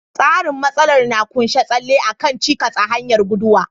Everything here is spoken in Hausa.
Tseren matsalar na ƙunshi tsalle a kan cikas a hanyar guduwa.